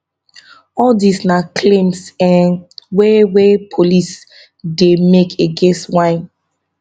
all dis na claims um wey wey police ddey make against wynne